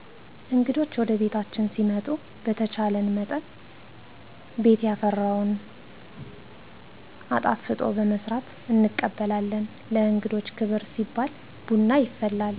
እንግዶች ወደቤታችን ሲመጡ በተቻለመጠን ቤት ያፈራውን አጣፍጦ በመስራት እንቀበላለን። ለእንግዶች ክብር ሲባል ቡና ይፈላል።